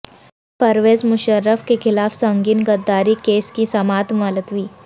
پرویز مشرف کیخلاف سنگین غداری کیس کی سماعت ملتوی